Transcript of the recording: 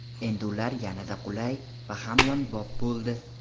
Endi ular yanada qulay va hamyonbop bo‘ldi!